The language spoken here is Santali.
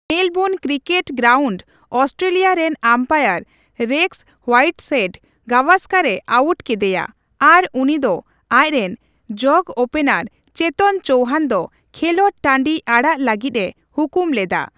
ᱢᱮᱞᱵᱳᱱ ᱠᱤᱨᱠᱮᱴ ᱜᱮᱨᱟᱩᱱᱴ ᱚᱥᱴᱮᱞᱤᱭᱟ ᱨᱮᱱ ᱟᱢᱯᱟᱭᱟᱨ ᱨᱮᱠᱥ ᱦᱳᱭᱟᱤᱴᱦᱮᱴ ᱜᱟᱣᱟᱥᱠᱚᱨ ᱮ ᱟᱣᱩᱴ ᱠᱤᱫᱤᱭᱟ ᱟᱨ ᱩᱱᱤ ᱫᱚ ᱟᱡ ᱨᱮᱱ ᱡᱚᱜᱚᱼᱳᱯᱮᱱᱟᱨ ᱪᱮᱛᱚᱱ ᱪᱳᱣᱦᱟᱱ ᱫᱚ ᱠᱷᱮᱞᱚᱰ ᱴᱟᱺᱰᱤ ᱟᱲᱟᱜ ᱞᱟᱹᱜᱤᱫ ᱮ ᱦᱩᱠᱩᱢ ᱞᱮᱫᱟ ᱾